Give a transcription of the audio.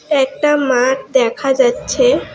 একটা মাঠ দেখা যাচ্ছে।